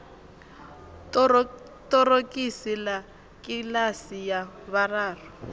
ṱorokisi ḽa kiḽasi ya vhuraru